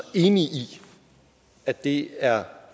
enig i at det er